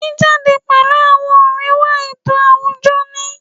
Jíjáde pẹ̀lú àwọn ọ̀rẹ́ wá ètò àwùjọ ni